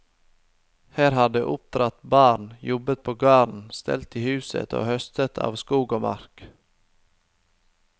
Her har de oppdratt barn, jobbet på gården, stelt i huset og høstet av skog og mark.